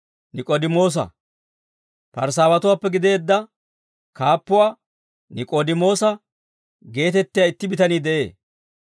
Parisaawatuwaappe gideedda kaappuwaa Nik'oodimoosa geetettiyaa itti bitanii de'ee.